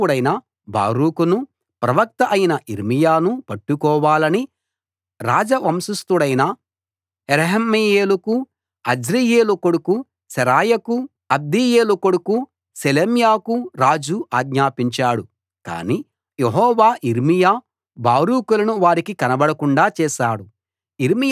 లేఖికుడైన బారూకును ప్రవక్త అయిన యిర్మీయాను పట్టుకోవాలని రాజవంశస్థుడైన యెరహ్మెయేలుకు అజ్రీయేలు కొడుకు శెరాయాకు అబ్దెయేలు కొడుకు షెలెమ్యాకు రాజు ఆజ్ఞాపించాడు కాని యెహోవా యిర్మియా బారూకులను వారికి కనబడకుండా చేశాడు